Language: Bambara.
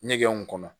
Ɲɛgɛnw kɔnɔ